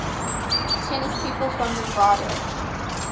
tennis people from nevada